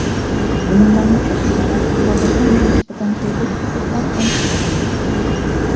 Gumonlanuvchi ushlanib, hozirda unga nisbatan tergov harakatlari olib borilmoqda.